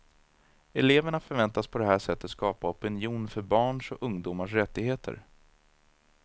Eleverna förväntas på det här sättet skapa opinion för barns och ungdomars rättigheter.